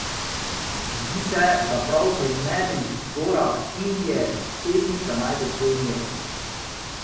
Zdi se, da prav v nedrih gora, Indije, pesnica najde svoj mir.